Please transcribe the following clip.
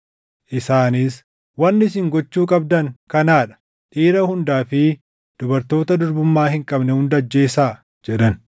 Isaanis, “Wanni isin gochuu qabdan kanaa dha; dhiira hundaa fi dubartoota durbummaa hin qabne hunda ajjeesaa” jedhan.